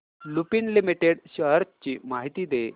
Lupin limited shares ची माहिती दे